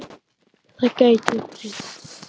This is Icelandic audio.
Það gæti breyst.